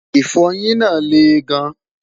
ifoyin nà leè gan